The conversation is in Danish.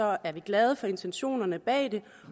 er vi glade for intentionerne bag det